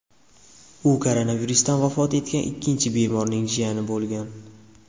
U koronavirusdan vafot etgan ikkinchi bemorning jiyani bo‘lgan .